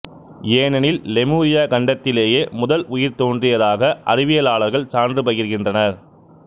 ஏனெனில் லெமுரியா கண்டத்திலேயே முதல் உயிர் தோன்றியதாக அறிவியலாளர்கள் சான்று பகர்கின்றனர்